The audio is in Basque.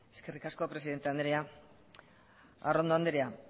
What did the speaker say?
eskerrik asko presidente andrea arrondo andrea